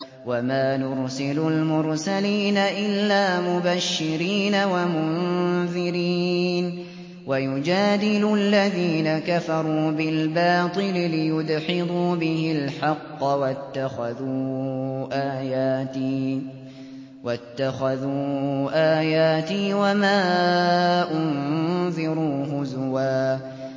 وَمَا نُرْسِلُ الْمُرْسَلِينَ إِلَّا مُبَشِّرِينَ وَمُنذِرِينَ ۚ وَيُجَادِلُ الَّذِينَ كَفَرُوا بِالْبَاطِلِ لِيُدْحِضُوا بِهِ الْحَقَّ ۖ وَاتَّخَذُوا آيَاتِي وَمَا أُنذِرُوا هُزُوًا